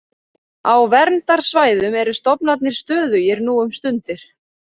Á verndarsvæðum eru stofnarnir stöðugir nú um stundir.